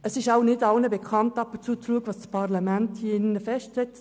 Es ist wohl nicht allen bekannt, was das Parlament hier festlegt.